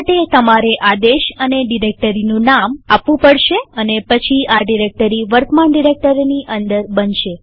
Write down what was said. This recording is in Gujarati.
આ માટે તમારે આદેશ અને ડિરેક્ટરીનું નામ આપવું પડશે અને પછી આ ડિરેક્ટરી વર્તમાન ડિરેક્ટરીની અંદર બનશે